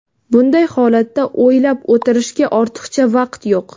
Bunday holatda o‘lab o‘tirishga ortiqcha vaqt yo‘q.